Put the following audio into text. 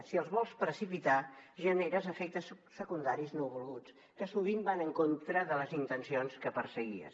si els vols precipitar generes efectes secundaris no volguts que sovint van en contra de les intencions que perseguies